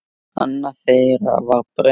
Annað þeirra var Brynja.